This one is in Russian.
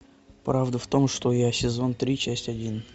правда в том что я сезон три часть один